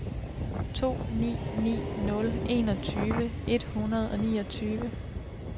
to ni ni nul enogtyve et hundrede og niogtyve